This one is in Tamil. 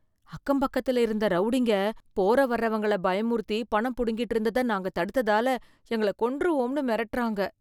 அக்கம் பக்கத்துல இருந்த ரௌடிங்க, போற வர்றவங்கள பயமுறுத்தி பணம் புடுங்கிட்டு இருந்தத நாங்க தடுத்ததால, எங்கள கொன்றுவோம்னு மிரட்டுறாங்க,